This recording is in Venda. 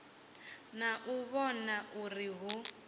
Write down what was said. na u vhona uri hu